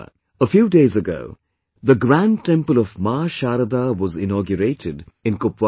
A few days ago, the Grand Temple of Maa Sharda was inaugurated in Kupwara